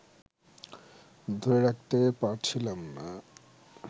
ধরে রাখতে পারছিলাম না